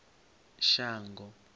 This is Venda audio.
shango